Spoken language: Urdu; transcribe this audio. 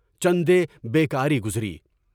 چندے بیکاری گزری۔